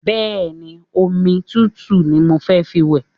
Bẹ́ẹ̀ni, omi tutu ni mo fẹ́ fi wẹ̀